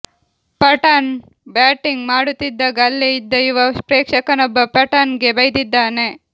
Pathan batting ಮಾಡುತ್ತಿದಾಗ ಅಲ್ಲೇ ಇದ್ದ ಯುವ ಪ್ರೇಕ್ಷಕನೊಬ್ಬ ಪಠಾಣ್ಗೆ ಬೈದಿದ್ದಾನೆ